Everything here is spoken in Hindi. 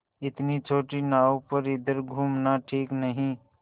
इतनी छोटी नाव पर इधर घूमना ठीक नहीं